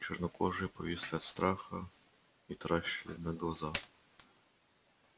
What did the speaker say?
чёрнокожие повисли от страха и таращили на глаза